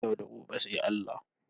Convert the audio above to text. Yau da gobe sai Allah.